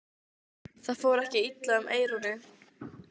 Það fór ekki illa um Eyrúnu.